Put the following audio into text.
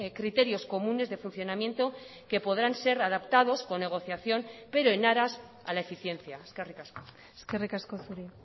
criterios comunes de funcionamiento que podrán ser adaptados con negociación pero en aras a la eficiencia eskerrik asko eskerrik asko zuri